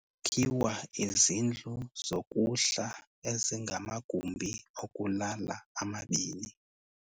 Kwakhiwa izindlu zokuhla ezinamagumbi okulala amabini.